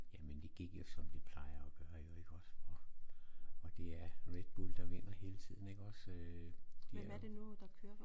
Jamen det gik jo som det plejer at gøre jo ik også og og det er Redbull der vinder hele tiden ik også